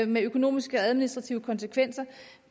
med økonomiske administrative konsekvenser